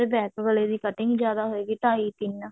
gap ਵਾਲੇ ਦੀ cutting ਜਿਆਦਾ ਹੋਇਗੀ ਢਾਈ ਤਿੰਨ